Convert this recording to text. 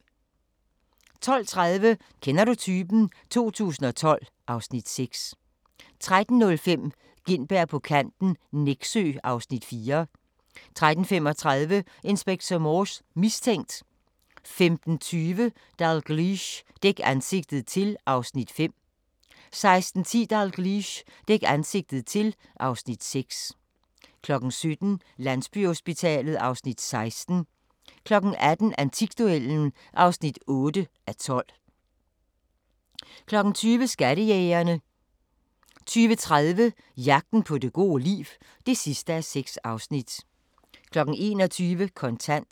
12:30: Kender du typen? 2012 (Afs. 6) 13:05: Gintberg på kanten - Nexø (Afs. 4) 13:35: Inspector Morse: Mistænkt 15:20: Dalgliesh: Dæk ansigtet til (Afs. 5) 16:10: Dalgliesh: Dæk ansigtet til (Afs. 6) 17:00: Landsbyhospitalet (Afs. 16) 18:00: Antikduellen (8:12) 20:00: Skattejægerne 20:30: Jagten på det gode liv (6:6) 21:00: Kontant